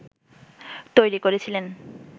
তৈরি করেছিলেন